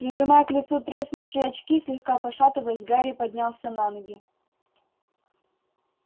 прижимая к лицу треснувшие очки слегка пошатываясь гарри поднялся на ноги